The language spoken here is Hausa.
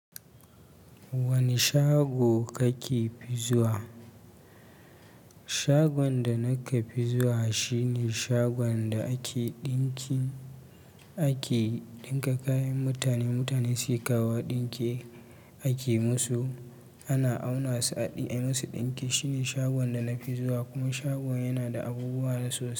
Wani shago kake fizuwa? Shagon da nake fizuwa shine shagon da ake ɗinki, ake ɗinka kayan mutane, mutane suke kawo ɗinki, ake musu, ana auna su, a ɗi a yi musu ɗinki. Shine shagon da na fizuwa kuma shagon yana da abubuwa nasu.